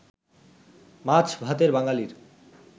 মাছ-ভাতের বাঙালির